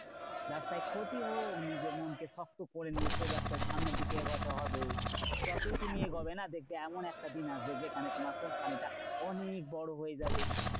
ব্যাবসায় ক্ষতি হোক নিজের মনকে শক্ত করে নিয়ে সেই ব্যাবসায় সামনের দিকে এগোতে হবে। যতই তুমি এগোবে না দেখবে এমন একটা দিন আসবে যেখানে তোমার কোম্পানিটা অনেক বড় হয়ে যাবে।